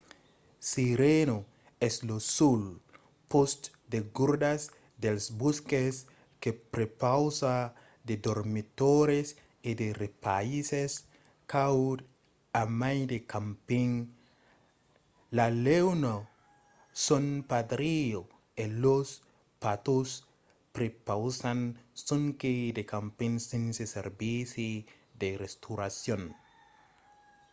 sirena es lo sol pòst de gardas dels bòsques que prepausa de dormitòris e de repaisses cauds a mai de camping. la leona san pedrillo e los patos prepausan sonque de camping sense servici de restauracion